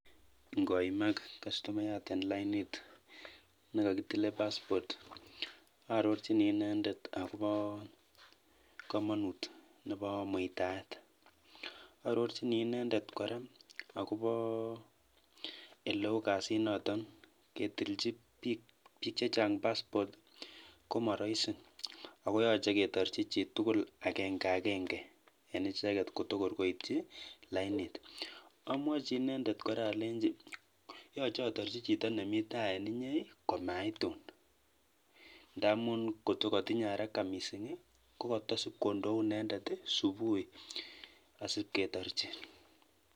Ng'oimak kastumayat en lainit nekokitilen paspot arorchini inendet akobo komonut nebo muitaet, arorchini inendet kora akobo eleu kadiniton ketilchin biik chechang paspot komoroisi ak koyoche ketilchin chitukul akeng'akeng'e en icheket en lainit, amwochi inendet kora alenchi yoche atorchi Chito nemii taa en inyee komaitun ndamun ng'ot ko kotinye araka mising ko kotosip kondoi inendet subui asipketorchi.